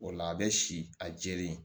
O la a bɛ si a jɛlen